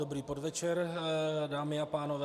Dobrý podvečer, dámy a pánové.